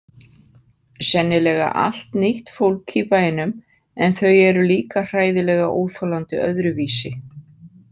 Sennilega allt nýtt fólk í bænum en þau eru líka hræðilega óþolandi öðruvísi.